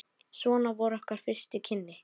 Svona voru okkar fyrstu kynni.